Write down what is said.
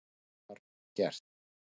Það var gert.